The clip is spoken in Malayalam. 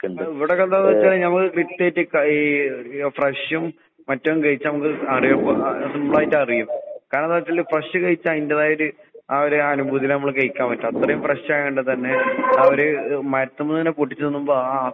അഹ് ഇവടൊക്കെന്താന്ന് വെച്ചാ ഞമ്മള് ഈ അഹ് ഫ്രഷും മറ്റതും കഴിച്ചമ്മക്ക് അറിയും സിമ്പിളായിട്ടറിയും. കാരണെന്താച്ചാല് ഫ്രഷ് കയിച്ചയിന്റതായൊരു ആ ഒരു അനുഭൂതീല് നമ്മള് കഴിക്കാൻ പറ്റും. അത്രയും ഫ്രഷായൊണ്ട് തന്നെ അവര് എഹ് മരത്ത്മ്മേന്നെ പൊട്ടിച്ച് തിന്നുമ്പ